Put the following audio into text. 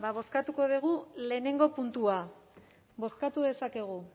ba bozkatuko dugu lehenengo puntua bozkatu dezakegu